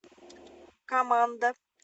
команда